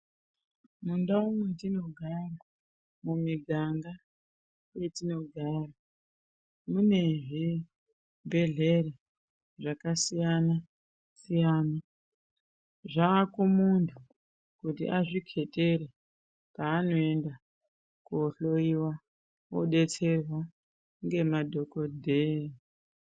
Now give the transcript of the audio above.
Mundau mwetinogara, mumiganga mwetinogara mune zvibhehlera zvakasiyana -siyana zvakumunhu kuti azvikhetere kwanoenda kohlowiwa ngemadhokodheya.